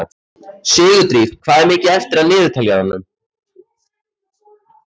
Sigurdríf, hvað er mikið eftir af niðurteljaranum?